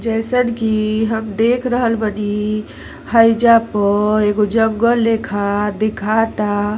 जइसन कि हम देख रहल बनी हाईजा प एगो जंगल लेखा देखाता।